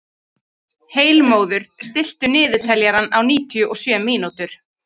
Heilmóður, stilltu niðurteljara á níutíu og sjö mínútur.